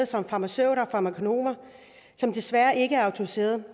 som farmaceuter og farmakonomer som desværre ikke er autoriserede